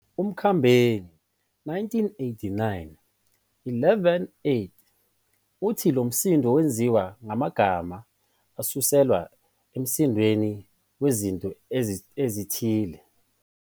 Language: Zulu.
UMakhambeni,1989-118, uthi lo msindo wenziwa ngamagama asuselwa emsindweni wezinto ezithile.